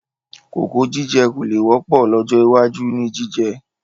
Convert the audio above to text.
Kókò jíjẹ kò le wọ́pọ̀ lọ́jọ́ iwájú ni jíjẹ